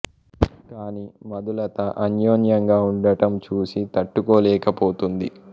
కానీ మధు లత అన్యోన్యంగా ఉండటం చూసి తట్టుకోలేక పోతుంది